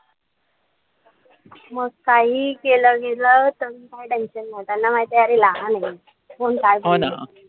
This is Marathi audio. मग काहीही केलं तरी काई tension नाई. त्यांना माहितीय अरे लहान ए. कोण काय बोलतय.